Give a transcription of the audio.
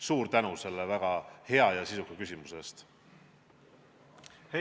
Suur tänu selle väga hea ja sisuka küsimuse eest!